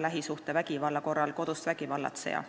lähisuhtevägivalla korral kodust vägivallatseja.